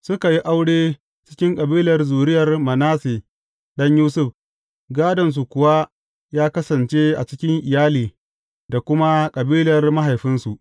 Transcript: Suka yi aure cikin kabilar zuriyar Manasse ɗan Yusuf, gādonsu kuwa ya kasance a cikin iyali da kuma kabilar mahaifinsu.